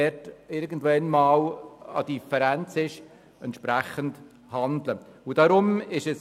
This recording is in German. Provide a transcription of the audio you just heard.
Wenn Differenzen auftreten, muss entsprechend gehandelt werden.